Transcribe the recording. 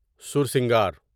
سورسنگر